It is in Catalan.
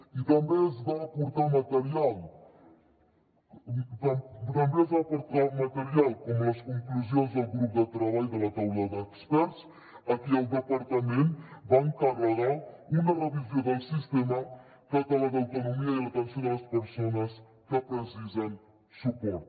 i també es va aportar material com les conclusions del grup de treball de la taula d’experts a qui el departament va encarregar una revisió del sistema català d’autonomia i l’atenció de les persones que precisen suport